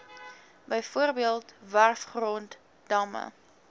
bv werfgrond damme